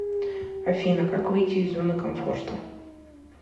афина как выйти из зоны комфорта